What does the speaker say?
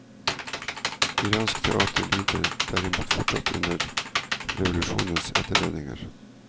Iransk teater lider derimot fortsatt under revolusjonens etterdønninger.